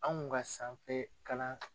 Anw ka sanfɛ kalan